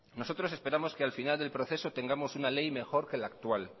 nosotros esperamos que al final del proceso tengamos una ley mejor que la actual